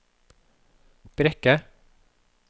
Brekke